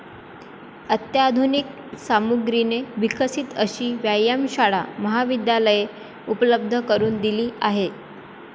अत्याधुनिक सामुग्रीने विकसित अशी व्यायामशाळा महाविद्यालयाने उपलब्ध करून दिली आहे.